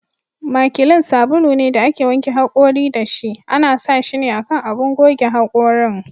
Makilin sabulu ne da ake wanke hakori da shi ,ana sa shine a kan abun goge hakorin.